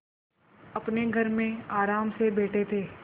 अपने घर में आराम से बैठे थे